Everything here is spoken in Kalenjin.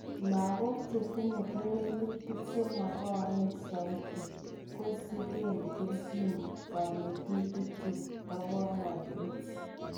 Logok chetinye kewelutik chemong'oen soiti kosiken kelchin konetutik chetoponotin.